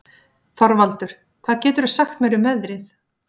Þorvaldur, hvað geturðu sagt mér um veðrið?